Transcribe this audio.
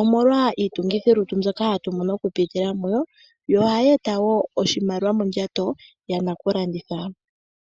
omolwa iitungithilutu mbyoka hatu mono oku pitila mudho, dho ohadhi e ta wo oshimaliwa mondjato yana ku landitha.